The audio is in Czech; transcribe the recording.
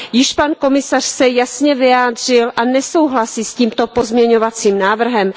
Již pan komisař se jasně vyjádřil a nesouhlasí s tímto pozměňovacím návrhem.